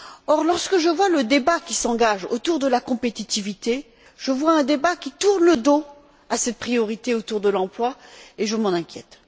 Or, lorsque je vois le débat qui s'engage autour de la compétitivité, je vois un débat qui tourne le dos à cette priorité autour de l'emploi et je m'en inquiète.